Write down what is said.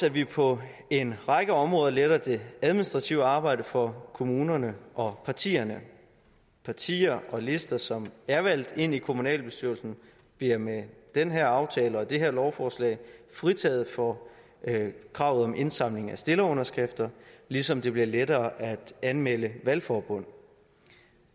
at vi på en række områder letter det administrative arbejde for kommunerne og partierne partier og lister som er valgt ind i kommunalbestyrelsen bliver med den her aftale og det her lovforslag fritaget for kravet om indsamling af stillerunderskrifter ligesom det bliver lettere at anmelde valgforbund